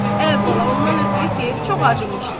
Əvvəla ondan ötrü ki, çox acımışdı.